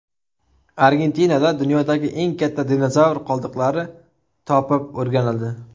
Argentinada dunyodagi eng katta dinozavr qoldiqlari topib o‘rganildi.